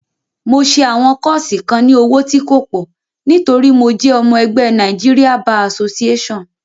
Mo ṣẹ àwọn kọ́ọ́ṣì kan ní owó tí kò pọ̀ nítorí mo jẹ́ ọmọ ẹgbé Nigeria Bar Association.